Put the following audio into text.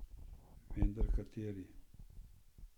Vendar kateri?